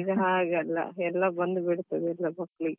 ಈಗ ಹಾಗೆ ಅಲ್ಲ ಎಲ್ಲ ಬಂದು ಬಿಡ್ತದೆ ಎಲ್ಲ ಮಕ್ಕಳಿಗೆ.